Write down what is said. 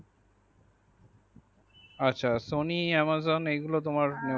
আচ্ছা sony amazon এই গুলো তোমার।